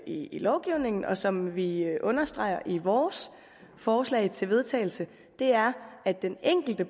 i lovgivningen og som vi understreger i vores forslag til vedtagelse er at den enkelte